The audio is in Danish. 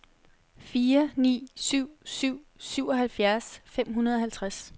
fire ni syv syv syvoghalvfjerds fem hundrede og halvtreds